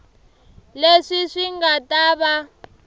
leswi swi nga ta va